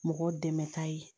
Mɔgɔ dɛmɛta ye